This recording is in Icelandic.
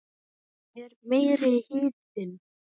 Það er meiri hitinn!